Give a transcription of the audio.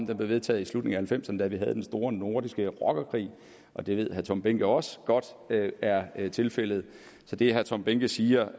den blev vedtaget i slutningen halvfemserne da vi havde den store nordiske rockerkrig og det ved herre tom behnke også godt er tilfældet så det herre tom behnke siger